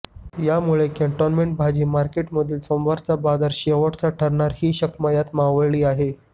यामुळे कॅन्टोन्मेंट भाजी मार्केटमधील सोमवारचा बाजार शेवटचा ठरणार ही शक्मयता मावळली आहे